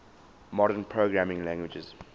modern programming languages